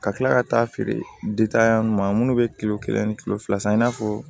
Ka kila ka taa feere ma minnu bɛ kilo kelen ani kilo fila san i n'a fɔ